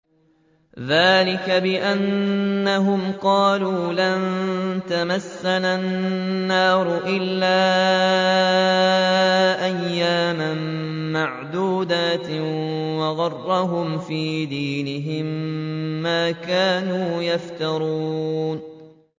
ذَٰلِكَ بِأَنَّهُمْ قَالُوا لَن تَمَسَّنَا النَّارُ إِلَّا أَيَّامًا مَّعْدُودَاتٍ ۖ وَغَرَّهُمْ فِي دِينِهِم مَّا كَانُوا يَفْتَرُونَ